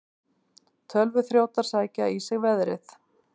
Tölvuþrjótar sækja í sig veðrið